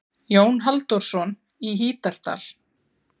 Jón Halldórsson í Hítardal.